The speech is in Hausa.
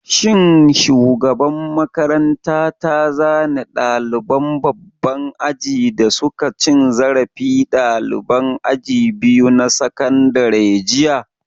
Shin shugaban makaranta ta zane ɗaliban babban aji da suka cin zarafi ɗaliban aji biyu na sakandare jiya?